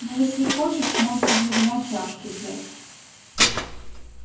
ну если хочешь можно для вина чашки взять